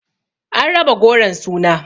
An raba goron suna